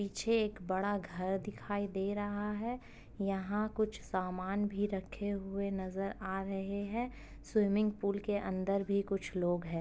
पीछे एक बडा घर दिखाई दे रहा है। यहाँ कुछ सामान भी रखे हुए नजर आ रहे है। स्विमिंग पूल के अंदर भी कुछ लोग हैं।